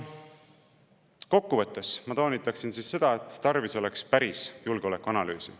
Kokkuvõtteks toonitan ma seda, et tarvis oleks päris julgeolekuanalüüsi.